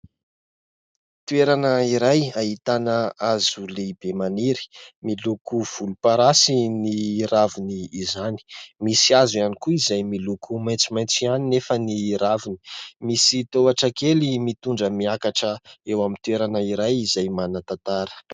Toerana iray ahitana hazo lehibe maniry: miloko volomparasy ny raviny izany, misy hazo ihany koa izay miloko maitsomaitso ihany nefa ny raviny, misy tohatra kely mitondra miakatra eo amin'ny toerana iray izay manan-tantara.